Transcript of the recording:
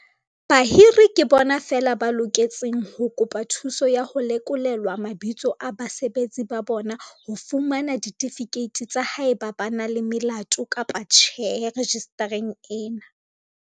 Bahiri ke bona feela ba loketseng ho kopa thuso ya ho lekolelwa mabitso a basebeletsi ba bona ho fumana ditifikeiti tsa haeba ba na le melato kapa tjhe rejistareng ena.